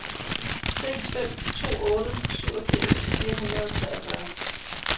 seks fem to otte syvogfirs fire hundrede og treogfyrre